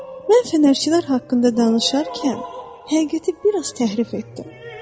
Mən fənərçilər haqqında danışarkən həqiqəti bir az təhrif etdim.